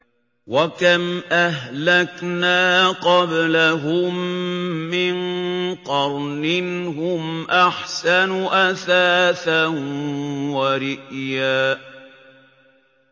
وَكَمْ أَهْلَكْنَا قَبْلَهُم مِّن قَرْنٍ هُمْ أَحْسَنُ أَثَاثًا وَرِئْيًا